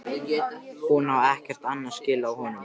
Hún á ekkert annað skilið af honum.